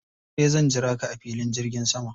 Da dare zan jira ka a filin jirgin sama.